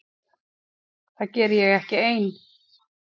Það geri ég ekki ein.